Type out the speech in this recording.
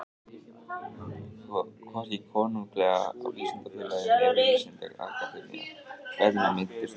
Hvorki Konunglega vísindafélagið né Vísindaakademía Berlínar minntust hans.